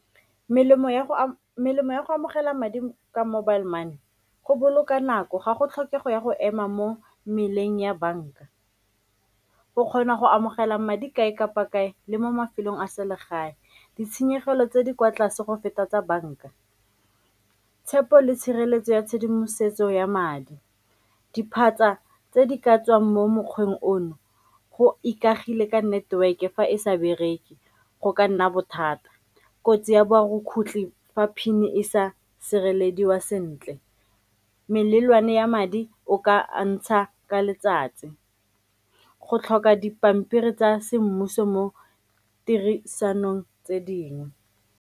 Melemo ya go amogela madi ka mobile money go boloka nako ga go tlhokego ya go ema mo meleng ya banka, o kgona go amogela madi kae kapa kae le mo mafelong a selegae ditshenyegelo tse di kwa tlase go feta tsa banka. Tshepo le tshireletso ya tshedimosetso ya madi, diphatsa tse di ka tswang mo mokgweng ono go ikagile ka network-e fa e sa bereke go ka nna bothata, kotsi ya borukgutlhi fa PIN-e e sa sirelediwa sentle, melelwane ya madi o ka ntsha ka letsatsi, go tlhoka dipampiri tsa semmuso mo tirisanong tse dingwe.